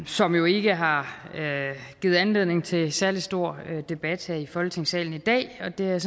som jo ikke har givet anledning til nogen særlig stor debat her i folketingssalen i dag og det er jeg